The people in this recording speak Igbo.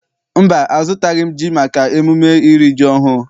Mba, azụtabeghị m ji maka emume iri ji ọhụụ.